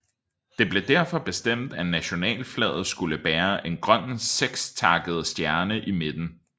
Det blev derfor bestemt at nationalflaget skulle bære en grøn sekstakket stjerne i midten